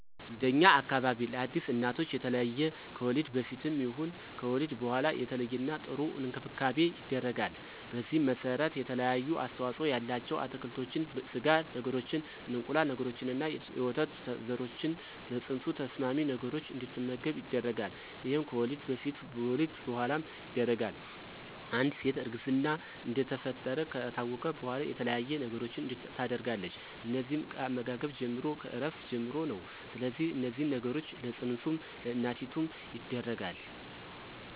እንደኛ አካባቢ ለአዲስ እናቶች የተለየ ከወሊድ በፊትም ይሁን ከወሊድ በኋላ የተለየና ጥሩ እንክብካቤ ይደረጋል። በዚህም መሰረት የተለያዩ አስተዋፅኦ ያላቸው አትክልቶችን፣ ስጋ ነገሮችን፣ እንቁላል ነገሮችንና የወተት ዘሮችን ለፅንሱ ተስማሚ ነገሮች እንድትመገብ ይደረጋል ይሄም ከወሊድ በፊትም በወሊድ በኋላም ይደረጋል፣ አንድ ሴት እርግዝና እንደተፈጠረ ከታወቀ በኋላ የተለያየ ነገሮችን ታደርጋለች እነዚህም ከአመጋገብ ጀምሮ፣ ከእረፍት ጀምሮ ነው ስለዚህ እነዚህን ነገሮች ለፅንሱም ለእናቲቱም ይደረጋል።